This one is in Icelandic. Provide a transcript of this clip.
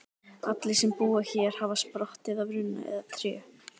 Allir sem búa hér hafa sprottið af runna eða tré.